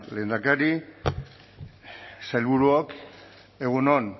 lehendakari sailburuok egun on